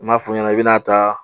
N maa fɔ i ɲɛna, i bɛna ta